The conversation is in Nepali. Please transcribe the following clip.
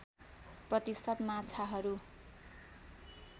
प्रतिशत माछाहरू